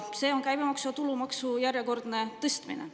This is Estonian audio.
See on käibemaksu ja tulumaksu järjekordne tõstmine.